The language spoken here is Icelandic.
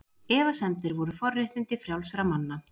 Efasemdir voru forréttindi frjálsra manna.